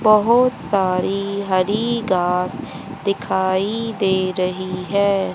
बहुत सारी हरी घास दिखाई दे रही है।